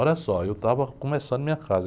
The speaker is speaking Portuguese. Olha só, eu estava começando minha casa.